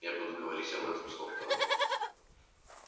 я буду говорить об этом с доктором